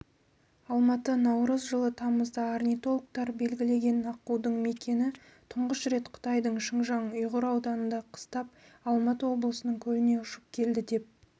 алматы наурыз жылы тамызда орнитологтар белгілеген аққудың мекиені тұңғыш рет қытайдың шыңжаң-ұйғыр ауданында қыстап алматы облысының көліне ұшып келді деп